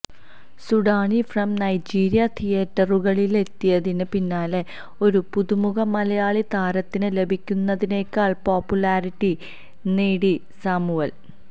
Sudani from Nigeria തീയേറ്ററുകളിലെത്തിയതിന് പിന്നാലെ ഒരു പുതുമുഖ മലയാളി താരത്തിന് ലഭിക്കുന്നതിനേക്കാള് പോപ്പുലാരിറ്റി നേടി സാമുവല്